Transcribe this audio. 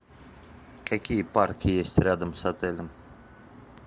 какие парки есть рядом с отелем